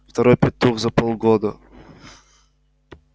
второй петух за полгода